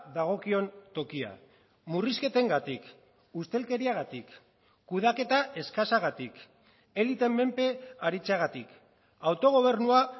dagokion tokia murrizketengatik ustelkeriagatik kudeaketa eskasagatik eliteen menpe aritzeagatik autogobernua